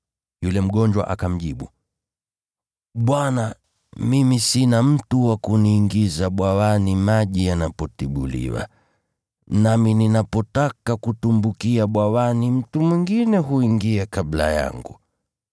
Yule mgonjwa akamjibu, “Bwana, mimi sina mtu wa kuniingiza bwawani maji yanapotibuliwa. Nami ninapotaka kutumbukia bwawani, mtu mwingine huingia kabla yangu.”